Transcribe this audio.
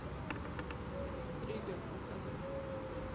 триллер показывай